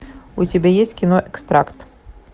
у тебя есть кино экстракт